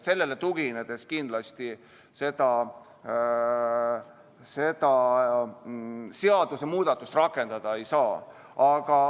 Sellele tuginedes kindlasti seda seadusemuudatust rakendada ei saa.